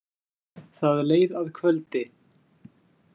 Það leið að kvöldi.